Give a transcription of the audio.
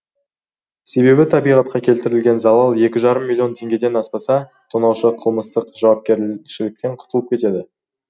себебі табиғатқа келтірілген залал екі жарым миллион теңгеден аспаса тонаушы қылмыстық жауапкершіліктен құтылып кетеді